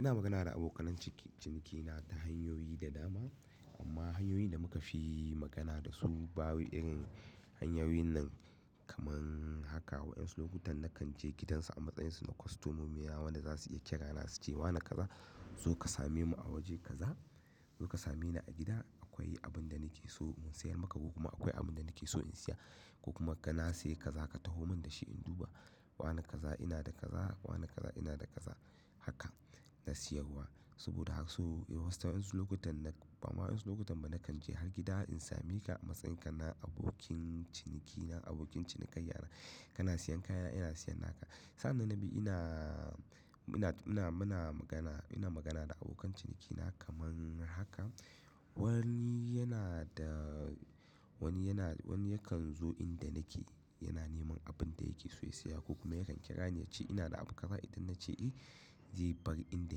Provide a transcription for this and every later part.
Ina magana da abokan cinikina ta hanyoyi da dama amma hanyoyin da muka fi magana da su babu irin hanyoyin nan kamar haka. Wasu lokutan na kan je gidansu a matsayin su na kostomomi na wan da za su iya kira na su ce wa na kaza zo ka same mu a waje kaza, zo ka same ni a gida. Akwai abin da nake so in sayar maka ko kuma akwai abin da nake so in siya ko kuma ka na saye kaza ka taho mun da shi in duba. Wanebkaza ina da kaza, wane kaza ina da kaza haka na sayar wa. Saboda haka so wasu lokutan na, bama wasu lokutan ba na kan je har gida in sami ka a matsayin ka na abokin ciniki na abokin cini kaiya na kana siyan kaya ina siya naka. Sa'an nan biyu ina, ina, ina muna magana ina magana da abokan cinikina kamar haka. Wani yana da, wani yana, wani yakan zo inda nake yana neman abin da yake so ya siya ko kuma yakan kira ni ya ce ina da abu kaza idan na ce eh, zai bar inda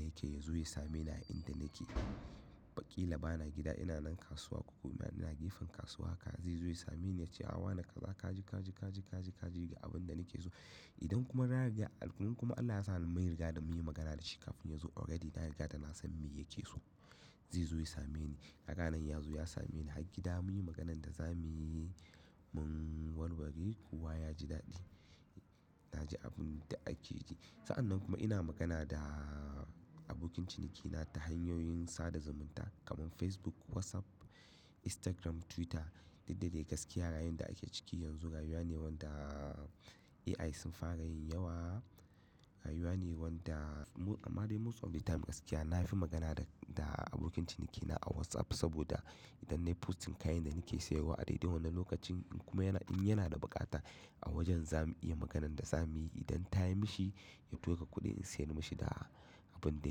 yake ya zo ya same ni a inda nake. Ba ƙila bana gida ina nan kasuwa ko kuma ina gefen kasuwa ka zai zo ya same ni ya ce a wa na kaza kaji, kaji, kaji, kaji, kaji ga abin da nake so. Idan kuma na riga, kuma Allah ya sa ni mun riga ra munyi magana da shi kafin ya zo already na riga da na san me yake so. Zai zo ya same ni. Kaga anan ya zo ya same ni har gida muyi maganan da za muyi mun warware kowa ya ji daɗi. Na ji abin da ake ji. Sa'an nan kuma ina magana da abokin cinikina ta hanyoyin sada zumunta kamar Facebook, WhatsApp, Instagram, Twitter da didda dai gaskiya rayuwar da ake ciki yanzu rayuwa ne wanda AI sun fara yin yawa. Rayuwa ne wanda amma dai motsa wuri ta mu gaskiya. Na fi magana da abokin cinikina a WhatsApp saboda idan nayi posting kayan da nake sayarwa a dai dai wannan lokacin kuma yana in yana da buƙata a wajen za mu iya maganan da za muyi. Idan ta yi mishi ya tura kuɗi in sayar mishi da abin da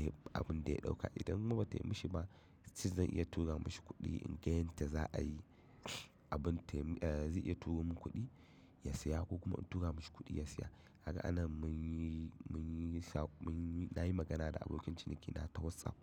ya, abin da ya ɗauka. Idan kuma ba ta yi mishi ba, lin ce zan iya tura mishi kuɗi in ga yadda za a yi abin ta yi, eh zai iya turo mun kuɗi ya siya ko kuma in tura mishi kuɗi ya siya. Kagaa anan mun yi, mun yi sha, mun yi, na yi magana da abokin cinikina ta WhatsApp.